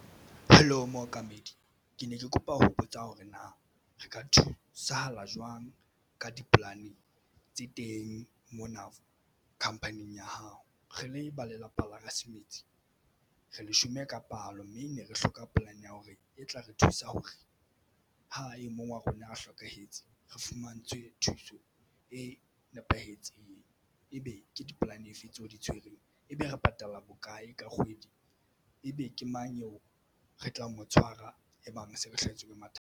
Hello, mookamedi ke ne ke kopa ho botsa hore na re ka thusahala jwang ka dipolane tse teng mona khampaning ya hao. Re le ba lelapa la ha Semetsi re leshome ka palo mme ne re hloka polane ya hore e tla re thusa hore ha e mong wa rona a hlokahetse re fumantshwe thuso e nepahetseng. Ebe ke di-plan efe tseo o di tshwereng ebe re patala bokae ka kgwedi ebe ke mang eo re tla mo tshwara e bang se re hlahetswe ke mathata?